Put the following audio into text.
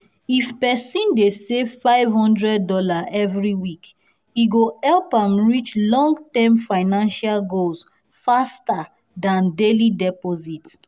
if person dey save five hundred dollars every week e go help am reach long-term financial goals faster than daily deposits.